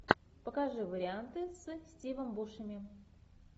покажи варианты с стивом бушеми